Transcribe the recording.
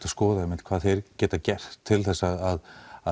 skoða einmitt hvað þeir geta gert til þess að